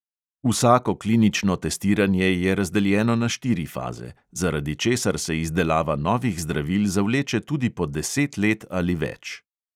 Vsako klinično testiranje je razdeljeno na štiri faze, zaradi česar se izdelava novih zdravil zavleče tudi po deset let ali več.